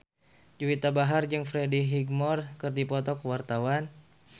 Juwita Bahar jeung Freddie Highmore keur dipoto ku wartawan